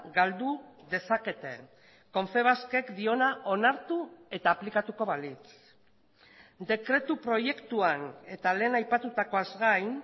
galdu dezakete confebaskek diona onartu eta aplikatuko balitz dekretu proiektuan eta lehen aipatutakoaz gain